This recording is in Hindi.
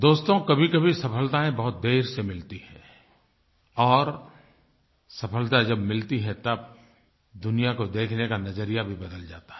दोस्तो कभीकभी सफलताएँ बहुत देर से मिलती हैं और सफलता जब मिलती है तब दुनिया को देखने का नज़रिया भी बदल जाता है